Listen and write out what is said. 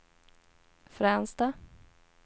Fränsta